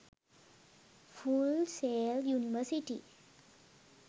full sail university